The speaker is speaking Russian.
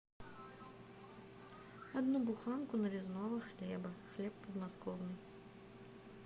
одну буханку нарезного хлеба хлеб подмосковный